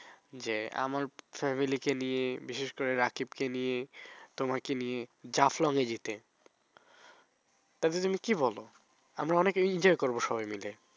যে আমার family কে নিয়ে বিশেষ করে রাকিবকে নিয়ে তোমাকে নিয়ে জাফলনে যেতে। তাতে তুমি কি বলো? আমরা অনেক enjoy করবো সবাই মিলে।